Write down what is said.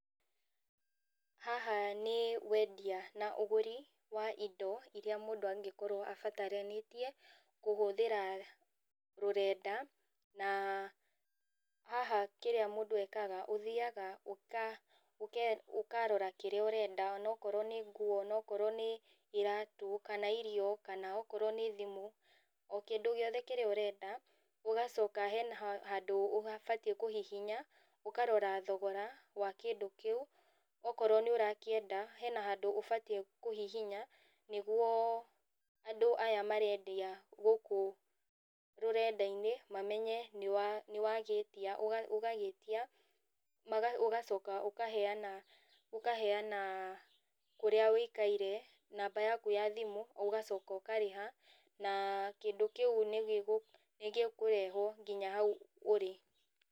Haha nĩ wendia na ũgũri wa indo irĩa mũndũ angĩkorũo abataranĩtie kũhũthĩra rũrenda na haha kĩrĩa mũndũ ekaga, ũthiaga ũkarora kĩrĩa ũrenda ona okorwo nĩ nguo, ona okorwo nĩ iratũ kana irio kana okorwo nĩ thimũ, o kĩndũ giothe kĩrĩa ũrenda. Ũgacoka hena handũ ũbatiĩ kũhihinya ũkarora thogora wa kĩndũ kĩu. Okorwo nĩ ũrakĩenda hena handũ ũbatiĩ kũhihinya nĩguo andũ aya marendia gũkũ rũrenda-inĩ mamenye nĩ wagĩtia, ũgagĩtia ũgacoka ũkaheana, ũkaheana kũrĩa ũikaire, namba yaku ya thimũ, ũgacoka ũkarĩha na kĩndũ kĩu nĩ gĩkũrehwo nginya hau urĩ.